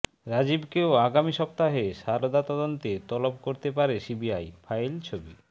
রাজীবকেও আগামী সপ্তাহে সারদা তদন্তে তলব করতে পারে সিবিআই ফাইল ছবি